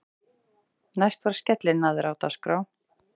Næst var skellinaðra á dagskrá.